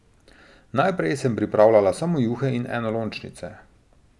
Naprej sem pripravljala samo juhe in enolončnice.